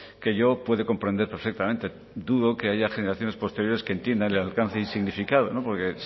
que yo puede comprender perfectamente dudo que haya generaciones posteriores que entiendan el alcance y significado porque